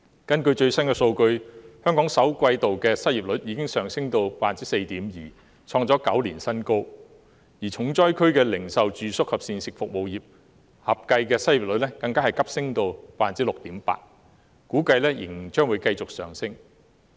根據最新的數據，香港首季度的失業率已經上升至 4.5%， 創下9年新高；而零售、住宿及膳食服務業等重災區合計的失業率更急升至 6.8%， 並估計仍然會繼續上升。